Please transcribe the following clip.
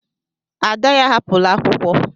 Ada ya ahapụla akwụkwọ.